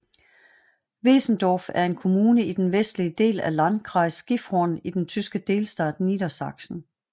Wesendorf er en kommune i den vestlige del af Landkreis Gifhorn i den tyske delstat Niedersachsen